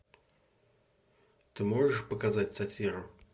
ты можешь показать сатиру